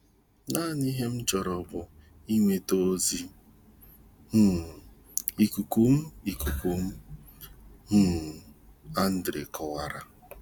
"Naanị ihe m chọrọ bụ inweta ozi um ikuku m, ikuku m, um Andre kowara"